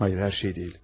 Hayır, her şeyi değil.